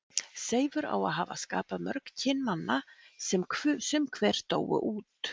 Seifur á að hafa skapað mörg kyn manna sem sum hver dóu út.